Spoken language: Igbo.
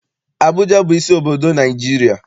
Abụja bụ isi obodo Naịjirịa.